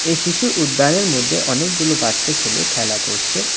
এই শিশু উদ্যানের মধ্যে অনেকগুলো বাচ্চা ছেলে খেলা করছে.